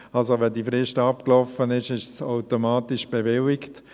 Wenn also die Frist abgelaufen ist, ist die Bewilligung automatisch erteilt.